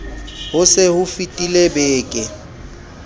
ho se ho fetile beke